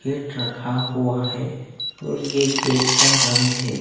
gate रखा हुआ है और ये गेट का रंग है--